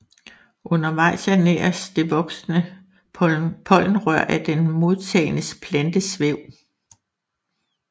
Undervejs ernæres det voksende pollenrør af den modtagende plantes væv